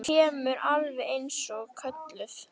Þú kemur alveg eins og kölluð!